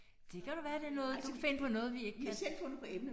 Det kan da være det er noget du kan finde på noget vi ikke kan